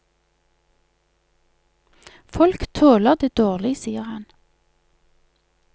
Folk tåler det dårlig, sier han.